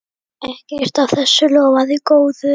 Ekkert af þessu lofaði góðu.